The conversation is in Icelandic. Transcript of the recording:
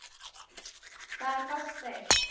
Hvar fást þeir?